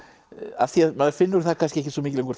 af því maður finnur það ekkert svo mikið lengur